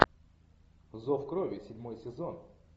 зов крови седьмой сезон